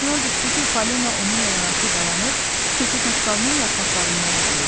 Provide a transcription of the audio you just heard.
Yadına düşdü ki, Falina onunla yanaşı dayanıb keçi saqqalının yarpaqlarından yeyirdi.